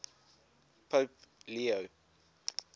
pope leo